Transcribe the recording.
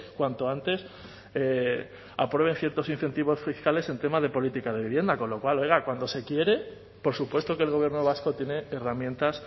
cuanto antes aprueben ciertos incentivos fiscales en tema de política de vivienda con lo cual oiga cuando se quiere por supuesto que el gobierno vasco tiene herramientas